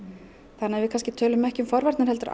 þannig að við kannski tölum ekki um forvarnir heldur